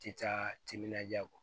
Ti taa timinandiya kɔ